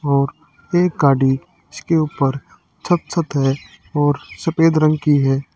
और एक गाड़ी इसके ऊपर छत छत है और सफेद रंग की है।